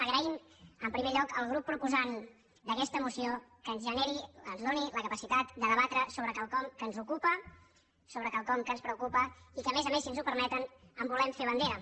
agraeixo en primer lloc al grup proposant d’aquesta moció que ens generi ens doni la capacitat de debatre quelcom que ens ocupa quelcom que ens preocupa i que a més a més si ens ho permeten en volem fer bandera